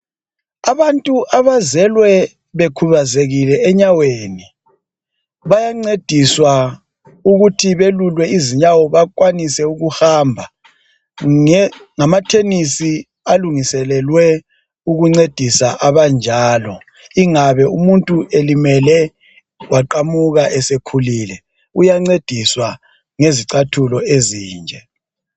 Abantu abazelwe bekhubazekile enyaweni. Bayancediswa ukuthi belulwe izinyawo bakwanise ukuhamba ngamathenisi alungiselelwe ukuncedisa abanjalo. Ingabe umuntu elimele, waqamuka esekhulile, uyancediswa ngezicathulo ezinje.